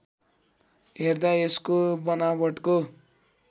हेर्दा यसको बनावटको